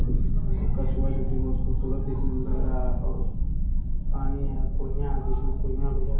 और कछुआ जो की बहुत खूबसूरत देखने में लग रहा है और पानी है कुइयां बीच में कुइंयाँ भी है।